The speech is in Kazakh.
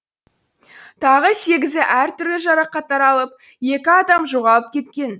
тағы сегізі әртүрлі жарақаттар алып екі адам жоғалып кеткен